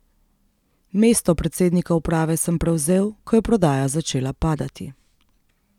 Mesto predsednika uprave sem prevzel, ko je prodaja začela padati.